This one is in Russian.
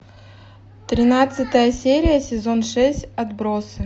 тринадцатая серия сезон шесть отбросы